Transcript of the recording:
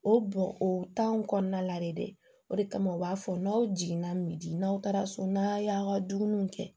O bɔn o tan kɔnɔna la de dɛ o de kama u b'a fɔ n'aw jiginna misi n'aw taara so n'aw y'aw ka dumuniw kɛ